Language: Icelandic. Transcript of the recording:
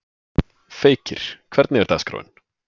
Feykir, hvernig er dagskráin?